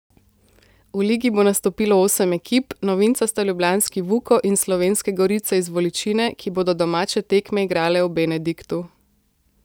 V ligi bo nastopilo osem ekip, novinca sta ljubljanski Vuko in Slovenske Gorice iz Voličine, ki bodo domače tekme igrale v Benediktu.